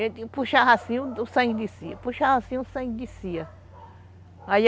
Ele puxava assim o sangue descia, puxava assim o sangue descia.